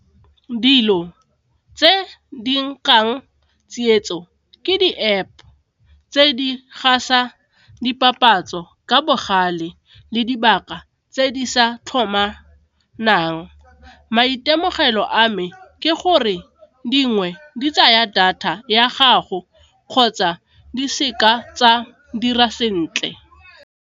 Dilo tse di tsietso ke di-App tse di gasa dipapatso ka bogale le dibaka tse di sa tlhomanang. Maitemogelo a me ke gore dingwe di tsaya data ya gago kgotsa di seka tsa dira sentle.